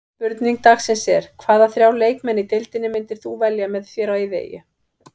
Spurning dagsins er: Hvaða þrjá leikmenn í deildinni myndir þú velja með þér á eyðieyju?